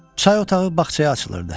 Çay otağı bağçaya açılırdı.